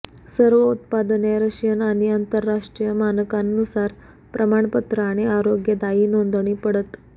सर्व उत्पादने रशियन आणि आंतरराष्ट्रीय मानकांनुसार प्रमाणपत्र आणि आरोग्यदायी नोंदणी पडत